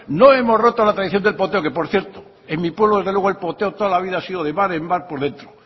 no hemos roto la tradición del poteo que por cierto en mi pueblo desde luego el poteo toda la vida ha sido de bar en bar por dentro